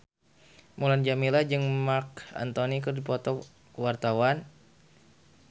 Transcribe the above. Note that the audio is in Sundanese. Mulan Jameela jeung Marc Anthony keur dipoto ku wartawan